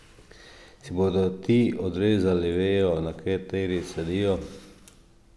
Si bodo ti odrezali vejo, na kateri sedijo?